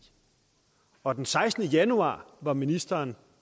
og den sekstende januar var ministeren